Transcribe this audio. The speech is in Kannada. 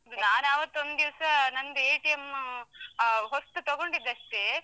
ನಾನ್ ಅವತ್ತು ಒಂದಿವಸ, ನಂದ್ , ಆ ಹೊಸ್ತು ತಗೊಂಡಿದ್ ಅಷ್ಟೇ.